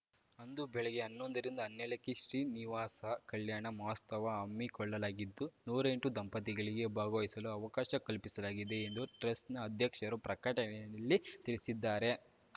ಅಂದು ಬೆಳಗ್ಗೆ ಹನ್ನೊಂದರಿಂದ ಹನ್ನೆರ್ಡಕ್ಕೆ ಶ್ರೀನಿವಾಸ ಕಲ್ಯಾಣ ಮಹೋತ್ಸವ ಹಮ್ಮಿಕೊಳ್ಳಲಾಗಿದ್ದು ನೂರೆಂಟು ದಂಪತಿಗಳಿಗೆ ಭಾಗವಹಿಸಲು ಅವಕಾಶ ಕಲ್ಪಿಸಲಾಗಿದೆ ಎಂದು ಟ್ರಸ್ಟ್‌ ನ ಅಧ್ಯಕ್ಷರು ಪ್ರಕಟಣೆಯಲ್ಲಿ ತಿಳಿಸಿದ್ದಾರೆ